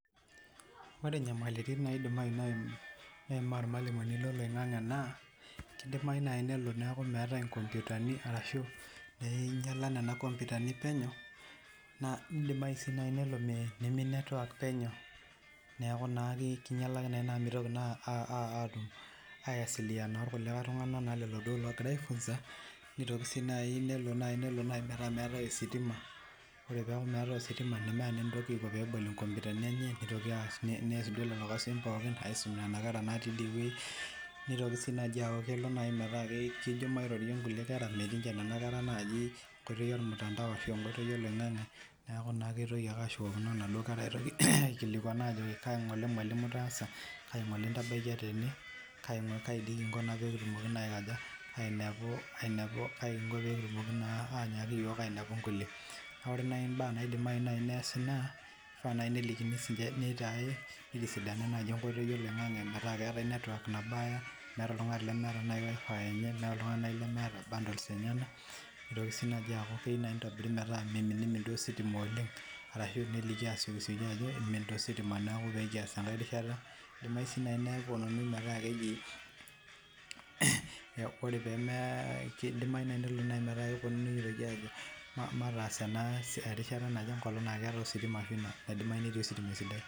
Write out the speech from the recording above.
Ore enyamalitin naidim meyima irmalimuni loo loingange naa kidimayu naaji nelo neeku meetae nkompitani ashu enyiala Nena nkompitani penyo naidimayu sii nimin network penyo neeku kinyialaki naa amu mitoki naa aiwasiliana oltung'ani logira aifunza nelo naaji metaa meetae sitima naa keeku naa meeta enaiko tenebol nkompitani enye nitoki as lelo kasin aisuma Nena kera nitoki sii naaji alo metaa kejo mairorie naaduo kera metii ninche naaduo kera enkoitoi oloingange neeku kitoki ake ashukokino Nena kera aikilikuan ajoki malimu kainyio Ng'ole etaasa kaji Ng'ole entabaikia tene kaji Kingo pee kitumoki ainepu nkulie naa ore naaji enikoni naa kishaa pee eitisidani network oloingange metaa ketaa tenebaya metaa meeta oltung'ani lemeeta wifi enye meeta oltung'ani lemeeta bundles enyena nitoki aku keyieu nitobiri metaa mimin ositima oleng ashu esioki aliki Ajo kimin taa ositaa pee kias enkae rishata edimayu sii nepuonunui metaa keji mataas ena siai enkolog naidimayu netii ositima esidai